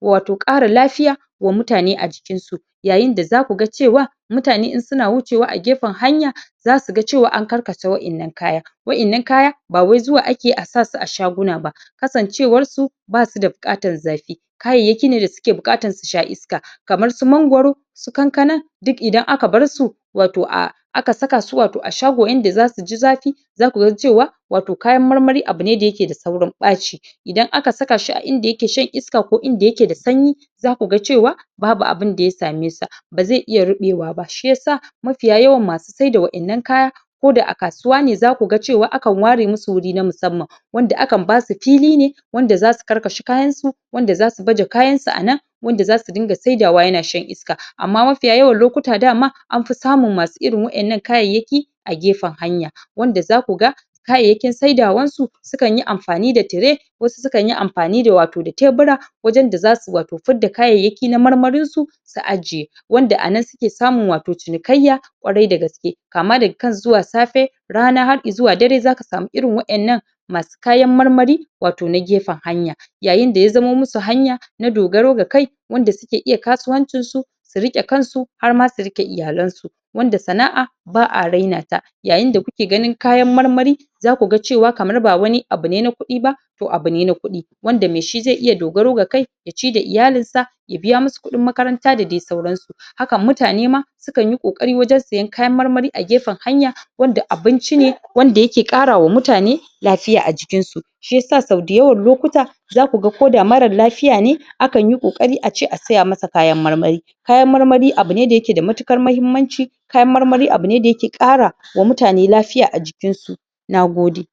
watau ƙara lafiya wa mutane a jikinsu yayin da zaku ga cewa mutane in suna wucewa a gefen hanya zasu ga cewa an karkasa wa'innan kaya. wa'innan kaya ba wai zuwa ake a sa su a shaguna ba kasancewar su basu da buatar zafi kayayyaki ne da suke buƙatar su sha iska kamar su mangoro su kankana duk idan aka bar su watau a aka saka su watau a shago inda zasu ji zafi zaku ga cewa watau kayan marmari abu ne wanda yake da saurin ɓaci idan aka saka shi a inda yake shan iska ko inda yake da sanyi zaku ga cewa babu abunda ya same sa ba zai iya ruɓewa ba shiyasa mafiya yawan masu saida wa'innan kaya ko da a kasuwa ne zaku ga cewa akan ware musu wuri na musamman wanda akan basu fili ne wanda zasu karkashe kayansu wanda zasu baje kayan su a nan wanda zasu dinga saidawa yana shan iska amma mafiya yawan lokuta dama an fi samun masu irin wa'innan kayayyaki a gefen hanya wanda zaku ga kayayyakin saidawansu sukan yi amfani da tire wasu sukan yi amfani da watau da tebura wajen da zasu watau fidda kayayyaki na marmarinsusu ajiye wanda a nan suke samun watau cinikayya ƙwarai da gaske kama daga kan zuwa safe, rana far i zuwa dare zaka samu irin wa'innan masu kayan marmari watau na gefen hanya yayin da ya zama musu hanya na dogaro ga kai wanda suke iya kasuwancin su Su riƙe kansu har ma su riƙe iyalan su wanda sana'a ba a raina ta yayin da kuke ganin kayan mamari zaku ga cewa kamar ba wani abu ne na kuɗi ba to abu ne na kuɗi wanda mai shi zai iya dogaro ga kai ya ci da iyalinsa ya biya musu kuɗin makaranta da dai sauran su haka mutane ma sukan yi ƙoƙari wajen siyan kayan marmari a gefen hanya wanda abinci ne wanda yake ƙarra wa mutane lafiya a jikinsu shiyasa sau dayawan lokuta zaku ga ko da marar lafiya ne akan yi ƙoƙari a ce a saya masa kayan marmari kayan marmari abu ne da yake da matuƙar mahimmanci kayan marmari abu ne da ke ƙara wa mutane lafiya a jikinsu. Nagode.